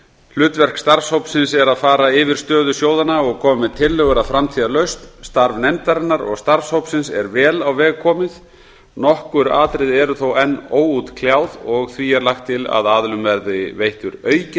hlutverk starfshópsins er að fara yfir stöðu sjóðanna og koma með tillögur að framtíðarlausn starf nefndarinnar og starfshópsins er vel á veg komið nokkur atriði eru þó enn óútkljáð og því er lagt til að aðilum verði veittur aukinn